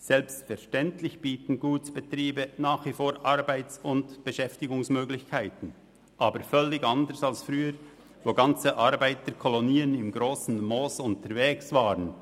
Selbstverständlich bieten Gutsbetriebe nach wie vor Arbeits- und Beschäftigungsmöglichkeiten, aber völlig anders als früher, als komplette Arbeiterkolonien im Grossen Moos unterwegs waren.